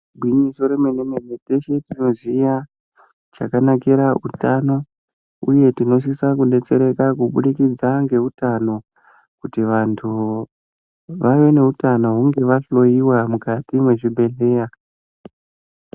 Igwinyiso remene mene teshe tinoziya chakanikira utano uye tinosise kudetsereka Kubudikidza ngeutano kuti vanhu vave neutano hunge vahloyiwa mukati mwezvibhedhlera.